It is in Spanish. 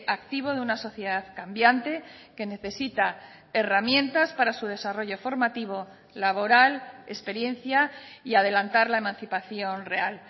activo de una sociedad cambiante que necesita herramientas para su desarrollo formativo laboral experiencia y adelantar la emancipación real